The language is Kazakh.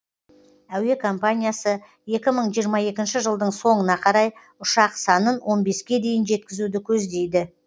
әуе компаниясы екі мың жиырма екінші жылдың соңына қарай ұшақ санын он беске дейін жеткізуді көздейді